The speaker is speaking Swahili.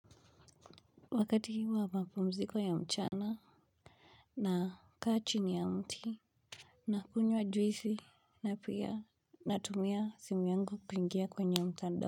Wakati wa mapumziko ya mchana naka chini ya mti. Nakunywa juizi na pia natumia simu yangu kuingia kwenye mtanda.